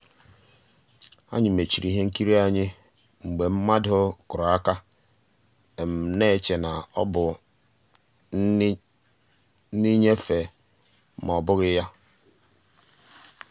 ànyị́ mèchìrì ihe nkírí ahụ́ mgbe mmadụ́ kùrù àka na-èchè na ọ́ bụ́ nnìnyéfè mà ọ́ bụ́ghi ya.